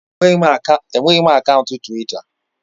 Enweghị m akaụntụ Twita